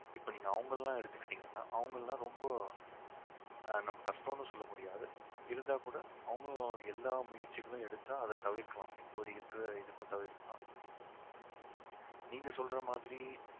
இப்ப நீங்க அவங்க எல்லாம் எடுத்துக்கிட்டிங்கன்னா அவங்க எல்லாம் ரொம்ப ஆஹ் நம்ம கஷ்டம்னு சொல்லமுடியாது இருந்தா கூட அவங்களும் எல்லா முயற்சிகளும் எடுத்தா அதை தவிர்க்கலாம் இப்போது இருக்கிற இதுக்கும் தவிர்க்கலாம் நீங்க சொல்ற மாதிரி